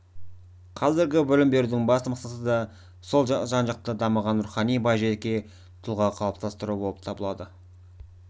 қазіргі білім берудің басты мақсаты да сол жан-жақты дамыған рухани бай жеке тұлға қалыптастыру болып табылады